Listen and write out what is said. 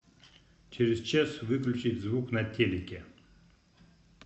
через час выключить звук на телике